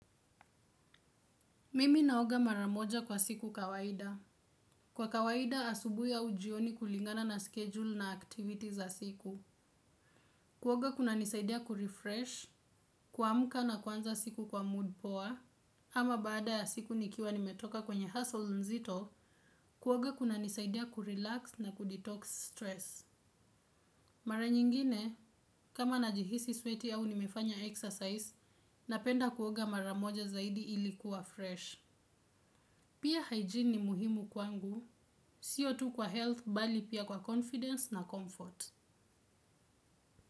Mimi naoga mara moja kwa siku kawaida. Kwa kawaida asubuhi au jioni kulingana na schedule na activity za siku. Kuoga kunanisaidia kurefresh, kuamka na kuanza siku kwa mood poa ama baada ya siku nikiwa nimetoka kwenye hustle nzito, kuoga kunanisaidia kurelax na kudetox stress. Mara nyingine, kama najihisi sweaty au nimefanya exercise, napenda kuoga mara moja zaidi ili kuwa fresh. Pia hygiene ni muhimu kwangu. Siyo tu kwa health bali pia kwa confidence na comfort.